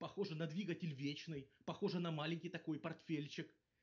похоже на двигатель вечный похожий на маленький такой портфельчик